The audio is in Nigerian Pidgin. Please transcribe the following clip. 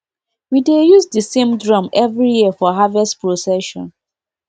we dey use the same drum every year for harvest procession